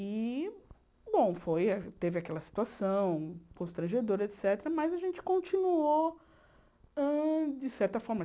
E, bom, foi a teve aquela situação constrangedora, et cétera., mas a gente continuou, hã de certa forma.